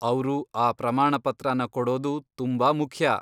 ಅವ್ರು ಆ ಪ್ರಮಾಣ ಪತ್ರನ ಕೊಡೋದು ತುಂಬಾ ಮುಖ್ಯ.